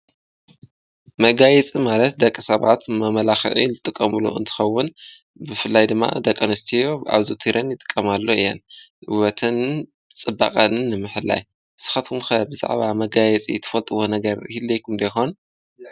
መጋየፂ ማለት ደቂ ሰባት ንመመላኽዒ ዝጥቐምሉ እንትኸውን ብፍላይ ድማ ደቂ ኣንስቲዮ ኣብዘውቲረን ይጥቀማሎ እየን፡፡ ውበተንን ፅባቐአንን ንምሕላይ ንስኻትኩም ከ ብዛዕባ መጋየፂ ትፈልጥዎ ነገር ሂልየኩም ዶ ይኾን?